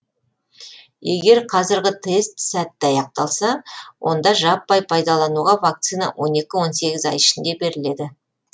егер қазіргі тест сәтті аяқталса онда жаппай пайдалануға вакцина он екі он сегіз ай ішінде беріледі